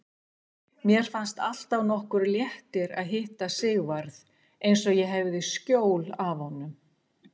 Mér fannst alltaf nokkur léttir að hitta Sigvarð, eins og ég hefði skjól af honum.